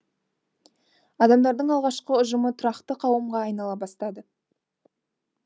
адамдардың алғашқы ұжымы тұрақты қауымға айнала бастады